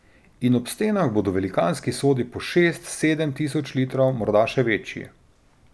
In ob stenah bodo velikanski sodi po šest, sedem tisoč litrov, morda še večji.